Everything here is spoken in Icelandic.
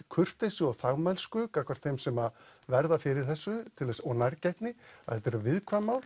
kurteisi og þagmælsku gagnvart þeim sem verða fyrir þessu og nærgætni þetta eru viðkvæm mál